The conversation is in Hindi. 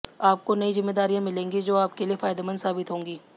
आपको नई जिम्मेदारियां मिलेंगी जो आप के लिए फायदेमंद साबित होंगी